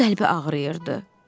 Tomun qəlbi ağrıyırdı.